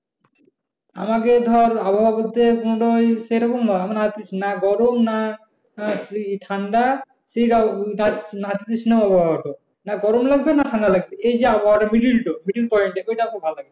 আমাকে ধর আবহাওয়া বলতে মূলত ওই সেইরকম না মানে না গরম না আহ ঠান্ডা নাতিশীতোষ্ণ আবহাওয়া। না গরম লাগবে না ঠান্ডা লাগবে এই যে আবহাওয়াটা meddile ডো middle point যে ওইটা ভালো লাগে।